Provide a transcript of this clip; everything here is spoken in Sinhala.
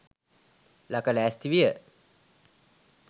ලක ලෑස්ති විය.